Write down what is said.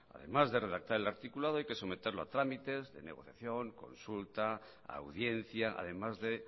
además de redactar el articulado hay que someterlo a trámites de negociación consulta audiencia además de